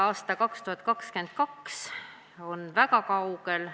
Aasta 2022 on väga kaugel.